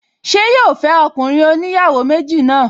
Ṣé yóò fẹ́ ọkùnrin oníyàwó méjì náà?